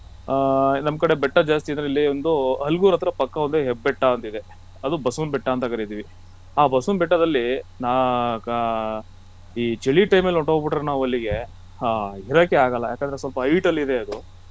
ಹಾ ನಮ್ಕಡೆ ಬೆಟ್ಟ ಜಾಸ್ತಿಇದ್ರೆ ಅದರಲ್ಲಿ ಒಂದು ಹಲುಗೂರು ಹತ್ರ ಪಕ್ಕ ಒಂದು ಎಬ್ಬೆಟ್ಟ ಅಂತ ಇದೆ ಅದು ಬಸವನ ಬೆಟ್ಟ ಅಂತ ಕರಿತಿವಿ ಆ ಬಸವನ ಬೆಟ್ಟದಲ್ಲಿ ನಾ~ ಗಾ~ ಈ ಚಳಿ time ಅಲ್ಲಿ ಹೊಂಟೊಗ್ಬಿಟ್ಟರೆ ನಾವ್ ಅಲ್ಲಿಗೆ ಹೋಗೊಕ್ಕೆ ಆಗಲ್ಲ ಯಾಕಂದ್ರೆ ಅದು ಸ್ವಲ್ಪ hight ಅಲ್ಲಿದೆ ಅದು.